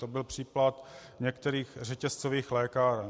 To byl případ některých řetězcových lékáren.